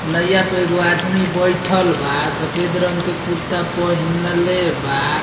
नैया पे एगो आदमी बइठल बा सफ़ेद रंग के कुर्ता पहिनले बा।